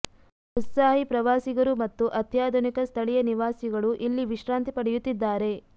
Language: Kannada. ಉತ್ಸಾಹಿ ಪ್ರವಾಸಿಗರು ಮತ್ತು ಅತ್ಯಾಧುನಿಕ ಸ್ಥಳೀಯ ನಿವಾಸಿಗಳು ಇಲ್ಲಿ ವಿಶ್ರಾಂತಿ ಪಡೆಯುತ್ತಿದ್ದಾರೆ